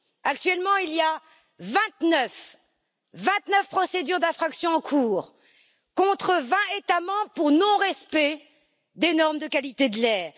Actuellement, il y a vingt neuf procédures d'infraction en cours contre vingt États membres pour non respect des normes de qualité de l'air.